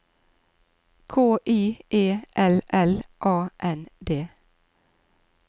K I E L L A N D